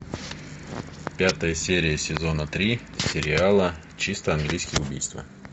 пятая серия сезона три сериала чисто английское убийство